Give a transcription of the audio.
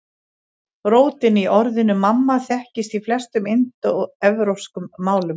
Rótin í orðinu mamma þekkist í flestum indóevrópskum málum.